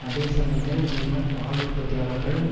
அதே சமயத்தில் ஜெர்மன் பால் உற்பத்தியாளர்கள்